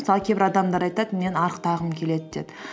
мысалы кейбір адамдар айтады мен арықтағым келеді деп